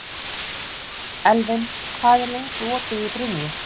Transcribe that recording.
Elvin, hvað er lengi opið í Brynju?